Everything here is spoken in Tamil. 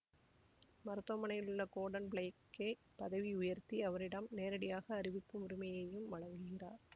மருத்துவமனையிலுள்ள கோர்டன் ப்ளேக்கை பதவியுயர்த்தி அவரிடம் நேரடியாக அறிவிக்கும் உரிமையையும் வழங்குகிறார்